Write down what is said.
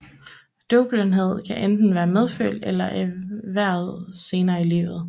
Døvblindhed kan enten være medfødt eller erhvervet senere i livet